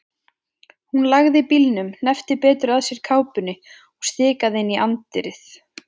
Hún lagði bílnum, hneppti betur að sér kápunni og stikaði inn í anddyrið.